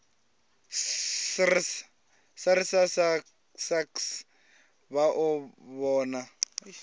srsa sasc vha o vhona